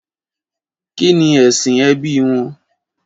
Kí ni ẹ̀sìn ẹbí wọn?